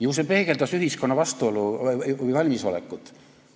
Ju see peegeldas ühiskonna valmisolekut.